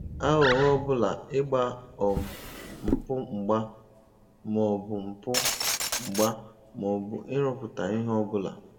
Aghụghọ ọbụla ịgba um mpụ mgba maọbụ mpụ mgba maọbụ ịrụpụta ihe ọbụla